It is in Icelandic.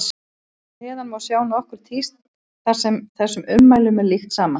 Hér að neðan má sjá nokkur tíst þar sem þessum ummælum er líkt saman.